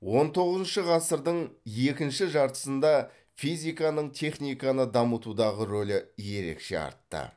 он тоғызыншы ғасырдың екінші жартысында физиканың техниканы дамытудағы ролі ерекше артты